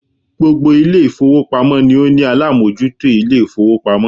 Gbogbo Ilé ìfowópamọ́ ni ó ní alámójútó Ilé ìfowópamọ́